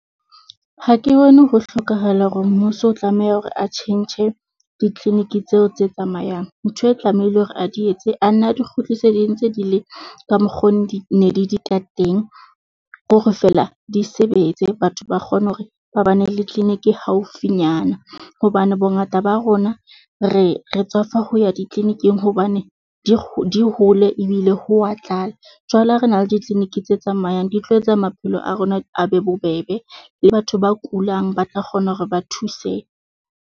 Ha ke bone ho hlokahala hore mmuso o tlameha hore a tjhentjhe di-clinic tseo tse tsamayang, ntho e tlamehileng hore a di etse, a nna di kgutlise ntse di le ka mokgo di ne di di ka teng. Ke hore feela di sebetse, batho ba kgone hore ba ba ne le clinic haufinyana hobane bongata ba rona re re tswafa ho ya di-clinic-ing hobane di dihole ebile ho wa tlala. Jwale ha re na le di-clinic tse tsamayang di tlo etsa maphelo a rona, a be bobebe le batho ba kulang ba tla kgona hore ba thuse.